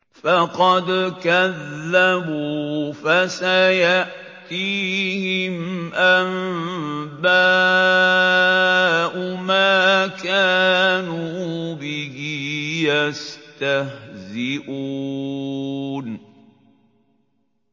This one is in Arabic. فَقَدْ كَذَّبُوا فَسَيَأْتِيهِمْ أَنبَاءُ مَا كَانُوا بِهِ يَسْتَهْزِئُونَ